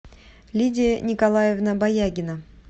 лидия николаевна баягина